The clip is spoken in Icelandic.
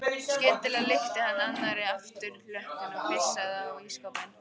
Skyndilega lyfti hann annarri afturlöppinni og pissaði á ísskápinn.